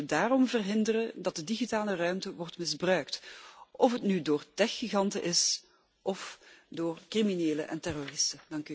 We moeten daarom verhinderen dat de digitale ruimte wordt misbruikt, of het nu door techgiganten is of door criminelen en terroristen.